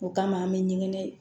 O kama an bɛ ɲɛgɛn